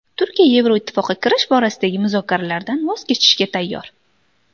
Turkiya Yevroittifoqqa kirish borasidagi muzokaralardan voz kechishga tayyor.